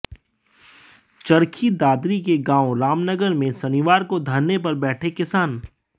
चरखी दादरी के गांव रामनगर में शनिवार को धरने पर बैठे किसान